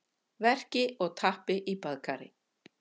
verki og tappi í baðkari.